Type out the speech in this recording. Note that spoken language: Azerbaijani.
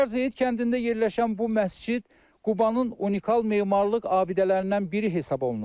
Ucqar Zeyid kəndində yerləşən bu məscid Qubanın unikal memarlıq abidələrindən biri hesab olunur.